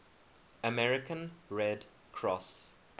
american red cross